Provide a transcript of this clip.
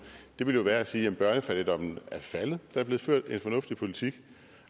ville være at sige at børnefattigdommen er faldet fordi er blevet ført en fornuftig politik